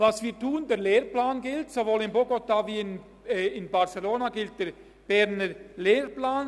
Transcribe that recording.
Was wir tun: Sowohl in Bogotá als auch in Barcelona gilt der Berner Lehrplan.